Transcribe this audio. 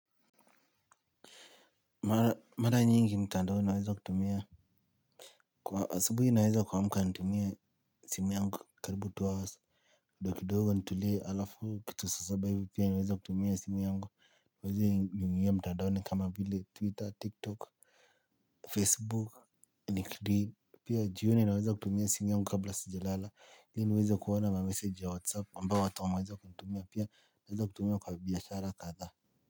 Mara nyingi mtandao naweza kutumia. Kwa asubuhi naweza kuamka nitumie simu yangu karibu two hours. Kidogo kidogo nitulie alafu kitu saa saba hivi pia naweza kutumia simu yangu. Niweze niingie mtandaoni kama vile Twitter, TikTok, Facebook, Nick Green. Pia jioni naweza kutumia simu yangu kabla sijalala. Ili niweze kuona mamessage ya WhatsApp ambayo watu wameweza kutumia pia naweza kutumia kwa biashara kadhaa.